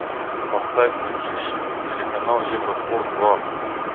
поставь на тиви телеканал евроспорт два